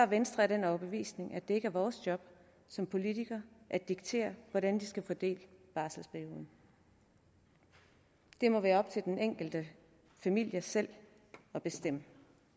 venstre af den overbevisning at det ikke er vores job som politikere at diktere hvordan de skal fordele barselsperioden det må være op til den enkelte familie selv at bestemme